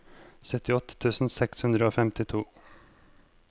syttiåtte tusen seks hundre og femtito